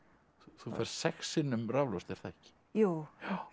þú færð sex sinnum raflost er það ekki jú